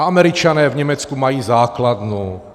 A Američané v Německu mají základnu.